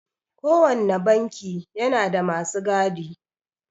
Kowanne banki yana da masu gadi.